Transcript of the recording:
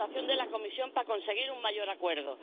la votación de la Comisión para conseguir un mayor acuerdo.